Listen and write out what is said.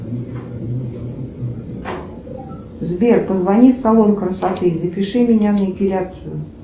сбер позвони в салон красоты и запиши меня на эпиляцию